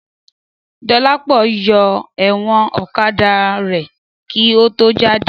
Dọlápọ̀ yọ ẹ̀wọ̀n ọ̀kadà rẹ̀ kí ó tó jáde